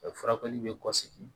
Furakɛli bɛ kɔsigi